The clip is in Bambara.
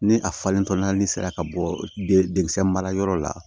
Ni a falentɔ n'ale sera ka bɔ denkisɛ marayɔrɔ la